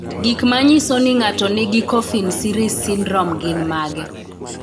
Gik manyiso ni ng'ato nigi Coffin Siris syndrome gin mage?